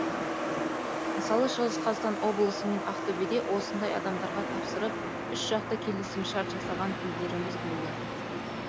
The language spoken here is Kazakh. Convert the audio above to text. мысалы шығыс қазақстан облысы мен ақтөбеде осындай адамдарға тапсырып үшжақты келісімшарт жасаған кездеріміз болды